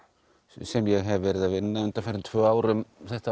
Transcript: sem ég hef verið að vinna undanfarin tvö ár um þetta